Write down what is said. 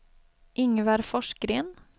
Ingvar Forsgren